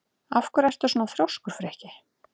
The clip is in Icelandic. Af hverju ertu svona þrjóskur, Frikki?